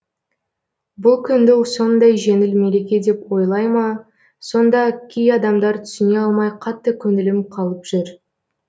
бұл күнді сондай жеңіл мереке деп ойлайма сонда кей адамдар түсіне алмай қатты көңілім қалып жүр